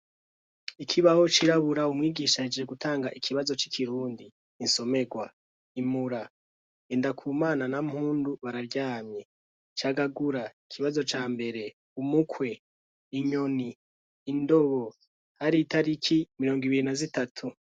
Ikibaho cirabura umwigisha ahejeje gutanga ikibazo c'ikirundi . Insomerwa :" Imura : Ngendakumana na Mpundu bararyamye; Cagagura : ikibazo ca mbere umukwe, inyoni, indobo".; Hari itariki mirongo ibiri na zitatu.